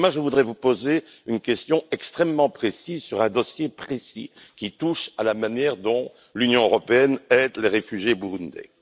Je voudrais vous poser une question extrêmement précise sur un dossier précis qui touche à la manière dont l'Union européenne aide les réfugiés burundais.